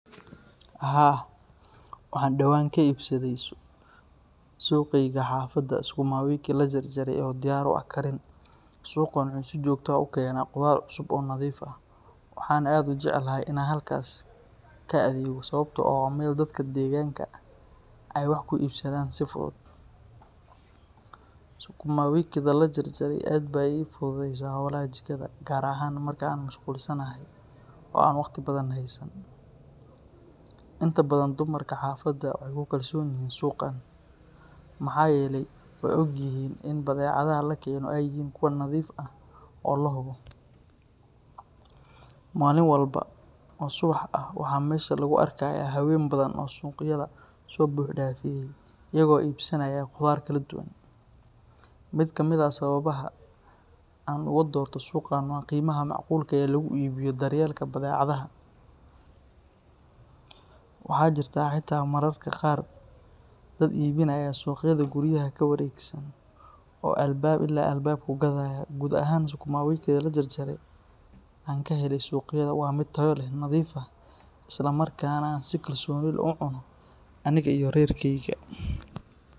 Waxaa dawan kaibsadhe suqeyga xafada sukuma wiki lajar jare oo diyar u ah karin, waxan jeclahay in an halkas ka adhegto oo meel dadka deganka ee wax ku ibsadhan si fuduud sukuma wiki tha la jar jare waxee I fududeysa holaha jikadha markan mashqul sanahay, inta badan dumarka xafada waxee ku kalsonyihin suqa maxaa yele weogyihin in badhecadhaha lakeno ee nadhiif yihin oo lahubo, malin walbo oo subax ah waxaa mesha lagu arkaya hawen badan oo suqyaada dax ordaya iyaga oo ibsanaya qudhaar kala duwan, miid ka miid ah sawabaha oo an oga dorte qimaha waxaa macqulka ee daryelka badhehadaha waxaa jirta xita mararka qar dad ibinaya oo alba ila albab u gadhaya gar ahan sukuma wikiga la jar jare an kahele suuq yada waa miid tayo leh, isla markasna an cuno aniga iyo rer keyga.